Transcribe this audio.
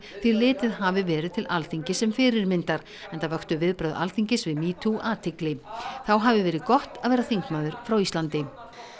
því litið hafi verið til Alþingis sem fyrirmyndar enda vöktu viðbrögð Alþingis við metoo athygli þá hafi verið gott að vera þingmaður frá Íslandi